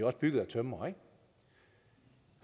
også bygget af tømrere